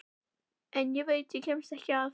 En ég veit að ég kemst ekki að.